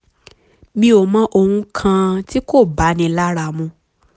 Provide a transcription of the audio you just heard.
mi ò mọ̀ ohun kan tí kò báni lára mu